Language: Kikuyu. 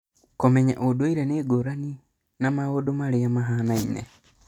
Kũmenya atĩ ũndũire nĩ ngũrani na maũndũ marĩa mahaanaine.